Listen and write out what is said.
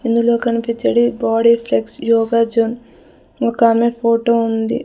ఇందులో కనిపించేది body flex yoga gym ఒక్కమే ఫోటో ఉంది.